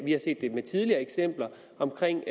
har set tidligere eksempler omkring